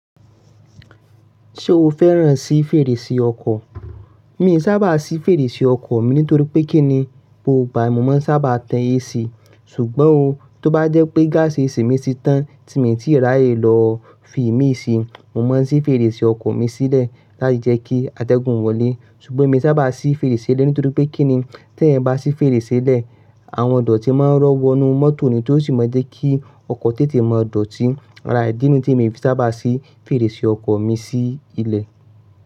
Ṣé o fẹ́ràn sí fèrèsé ọkọ̀? Mi i sábà sí fèrèsé ọkọ̀ mi, nítorí pé kí ni, gbogbo ìgbà ni mo máa ń sábà tẹ AC, ṣùgbọ́n o, tó bá jẹ́ pé gaasi AC mi ti tán, tí mi ì tíì rà yè lọ fi mí sí, mo máa ń sí fèrèsé ọkọ̀ mi sílẹ̀ láti jẹ́ kí atẹ́gun o wọlé. Ṣùgbọ́n èmi sábà sí fèrèsé lẹ́, nítorí pé kí ni, tí ẹ̀yan bá sí fèrèsé lẹ̀, àwọn idọ̀tí máa ń rọ́ wọ inú mọ́tò ni, tó sì máa jẹ́ kí ọkọ̀ tètè máa dọ̀tí. Ará idí nìi, tí mi sábà sí fèrèsé ọkọ̀ mi sí ilẹ̀.